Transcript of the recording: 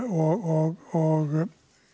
og